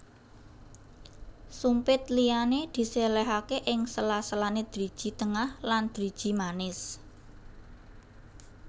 Sumpit liyane diselehake ing sela selane driji tengah lan driji manis